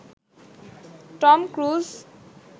Tom cruise